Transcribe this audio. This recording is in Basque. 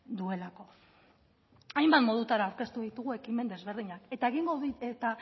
duelako hainbat modutara aurkeztu ditugu ekimen ezberdinak eta